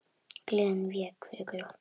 Gleðin vék fyrir glotti.